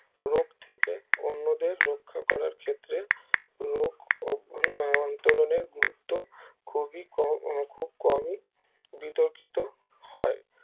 রোগ থেকে অন্যদের রক্ষা করার ক্ষেত্রে রোগ আহ অন্তরণের গুরুত্ব খুবি কম খুব কমে বিতর্কিত হয়